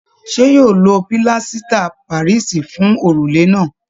Ṣe yóò lo pílásítà parisi fún òrùlé náà?